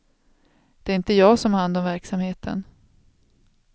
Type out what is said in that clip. Det är inte jag som har hand om verksamheten.